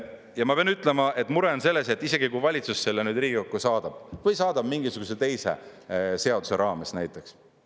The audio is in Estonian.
Ja ma pean ütlema, et mure on selles, et isegi kui valitsus selle Riigikokku saadab või saadab mingisuguse teise seaduse raames näiteks.